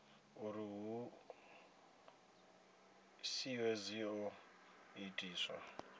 uri ṱhoḓisio dzi ḓo itiswa